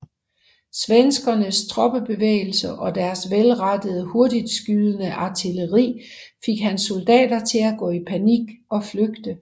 Svenskernes troppebevægelser og deres velrettede hurtigtskydende artilleri fik hans soldater til at gå i panik og flygte